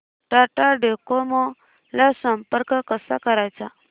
Tata Docomo ला संपर्क कसा करायचा